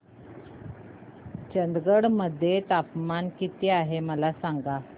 चंदगड मध्ये तापमान किती आहे मला सांगा